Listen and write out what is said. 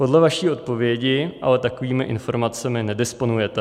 Podle vaší odpovědi ale takovými informacemi nedisponujete.